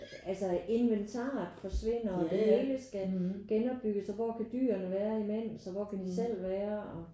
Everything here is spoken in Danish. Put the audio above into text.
Altså inventaret forsvinder og det hele skal genopbygges og hvor kan dyrene være imens og hvor kan de selv være og